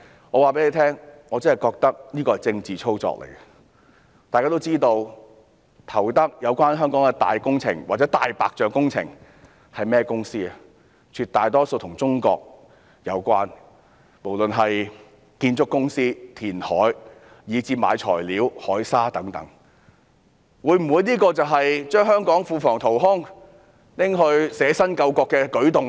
我告訴大家，我認為這其實是政治操作，大家都知道在香港投得大型工程或"大白象"工程的是甚麼公司，當中絕大多數都與中國有關，不論是建築公司、填海以至購買材料、海砂等亦如是，這會否就是把香港庫房淘空，拿去捨身救國的舉動呢？